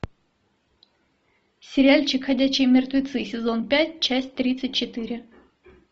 сериальчик ходячие мертвецы сезон пять часть тридцать четыре